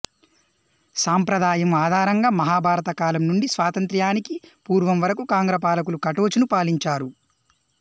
సాంప్రదాయం ఆధారంగా మహాభారతం కాలం నుండి స్వాతంత్ర్యానికి పూర్వం వరకు కాంగ్రా పాలకులు కటోచును పాలించారు